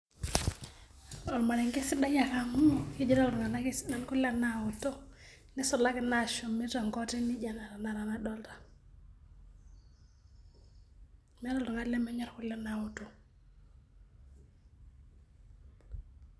Ormarenke sidai ake amu kejito iltunganak kesidai kule naoto nisulaki inatii ene naijo ena nadolta ,meeta oltungani lemenyor kule naoto.